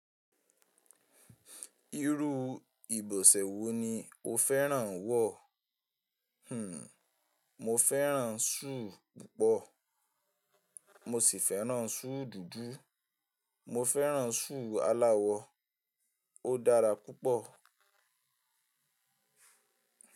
Irú ìbọ̀sẹ̀ wo ni o fẹ́ràn wọ̀? Hmm, mo fẹ́ràn súù púpọ̀. Mo sì fẹ́ràn súù dúdú, mo fẹ́ràn súù aláwọ. Ó dára púpọ̀.